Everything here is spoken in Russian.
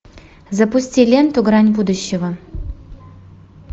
запусти ленту грань будущего